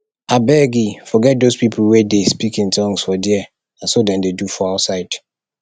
abegii forget doz people wey dey speak in tongues for there na so dem dey do for outside